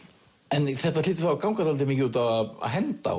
en þetta hlýtur þá að ganga dálítið mikið út á að henda